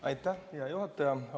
Aitäh, hea juhataja!